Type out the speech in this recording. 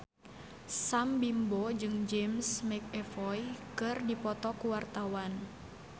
Sam Bimbo jeung James McAvoy keur dipoto ku wartawan